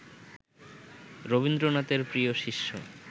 রবীন্দ্রনাথের প্রিয় শিষ্য